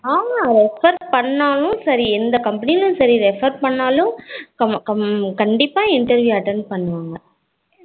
ஆமா refer பன்னாலும் சரி எந்த company refer பண்ணுனாலும் கண்டிப்பா interview attend பண்ணுவாங்க